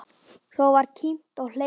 Svo var kímt og hlegið.